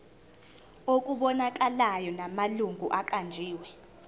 okubonakalayo namalungu aqanjiwe